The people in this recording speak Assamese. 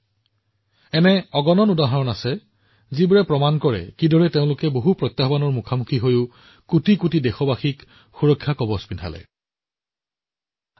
তেওঁলোকে কেনেকৈ সকলো প্ৰত্যাহ্বান অতিক্ৰম কৰিছিল আৰু যিমান পাৰি সিমান মানুহক সুৰক্ষা আৱৰণ প্ৰদান কৰিছিল সেই বিষয়ে বৰ্ণনা কৰাৰ অগণন উদাহৰণ আছে